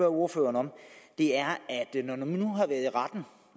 ordføreren om er